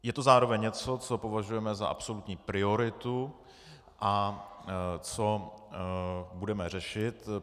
Je to zároveň něco, co považujeme za absolutní prioritu a co budeme řešit.